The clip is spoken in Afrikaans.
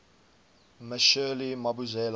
me shirley mabusela